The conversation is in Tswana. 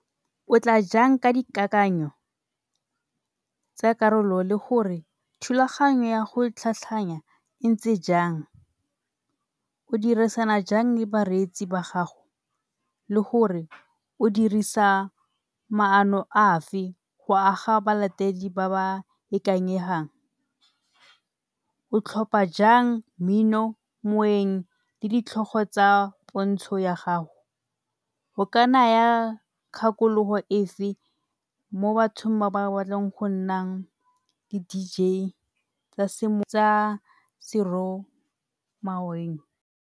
O tla jang ka dikakanyo tsa karolo le gore thulaganyo ya go tlhatlhanya e ntse jang? O dirisana jang le bareetsi ba gago le gore o dirisa maano afe go aga balatedi ba ba ikanyegang? O tlhopha jang mmino, moeng le ditlhogo tsa pontsho ya gago? O ka naya kgakologo efe mo batho ba ba batlang go nna di-D_J tsa, tsa .